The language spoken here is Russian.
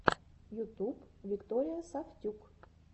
ютуб виктория сафтюк